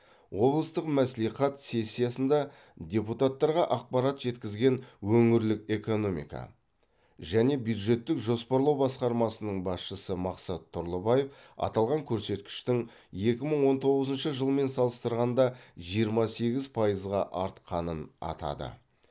облыстық мәслихат сессиясында депутаттарға ақпарат жеткізген өңірлік экономика және бюджеттік жоспарлау басқармасының басшысы мақсат тұрлыбаев аталған көрсеткіштің екі мың он тоғызыншы жылмен салыстырғанда жиырма сегіз пайызға артқанын атады